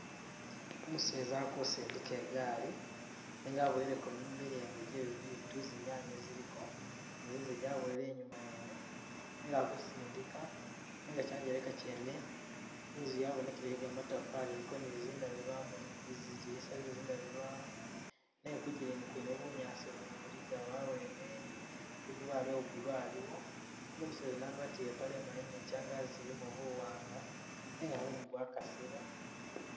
Umuseza akusindika i gaali, nenga abuweleko milengo je bi bitu zinyanye ziliko zi zinzagi aboyile inyuma yene nenga akusindika, nenga kyangeleka kyene inzu yabonekele yegamatafari iliko nizindabilwamu nizidinisa zezindabilwamu nenga kugilini kwene bunyaasi buligawo awene ni tundubaye uwa blue aliwo, nenga umuseza yuno agwatile ipale imali ni kyangaji kyilimo buwanga nenga mumu gwakasile.